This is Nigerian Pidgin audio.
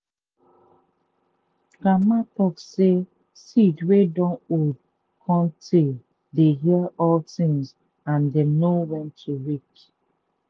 grandma talk say seed wey dun old cun tay dey hear all thing and dem know when to wake.